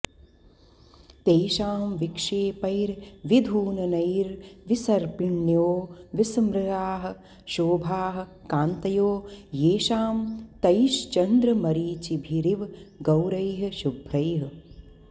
तेषां विक्षेपैर्विधूननैर्विसर्पिंण्यो विसृमराः शोभाः कान्तयो येषां तैश्चन्द्रमरीचिभिरिव गौरैः शुभ्रैः